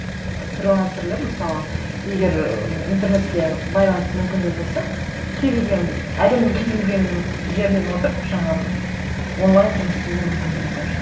фрилансерлер мысалы егер ыыы интернетке байланыс мүмкіндігі болса кез келген әлемнің кез келген жерінен отырып жаңағы онлайн жұмыс істеуге мүмкіндігі бар